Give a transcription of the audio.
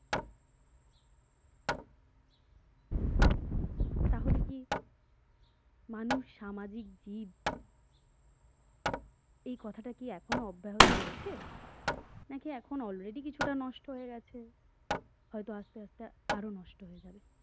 তাহলে কি মানুষ সামাজিক জীব এই কথাটা কি এখনো অব্যাহত রয়েছে নাকি এখন already কিছুটা নষ্ট হয়ে গেছে হয়তো আস্তে আস্তে আরো নষ্ট হয়ে যাবে